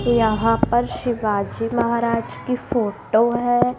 यहाँ पर शिवाजी महाराज की फोटो है।